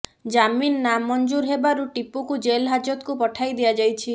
ଜାମିନ୍ ନାମଞ୍ଜୁର ହେବାରୁ ଟିପୁକୁ ଜେଲ୍ ହାଜତକୁ ପଠାଇ ଦିଆଯାଇଛି